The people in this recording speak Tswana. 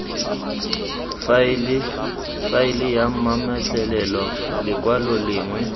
faele ya mametlelelo lekwalo lengwe